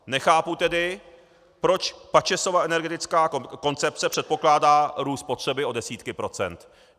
Nechápu tedy, proč Pačesova energetická koncepce předpokládá růst spotřeby o desítky procent.